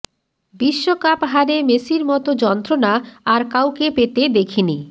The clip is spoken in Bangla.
বিশ্বকাপ হারে মেসির মতো যন্ত্রণা আর কাউকে পেতে দেখিনি